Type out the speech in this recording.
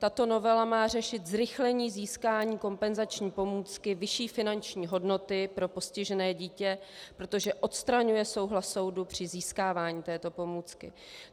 Tato novela má řešit zrychlení získání kompenzační pomůcky vyšší finanční hodnoty pro postižené dítě, protože odstraňuje souhlas soudu při získávání této pomůcky.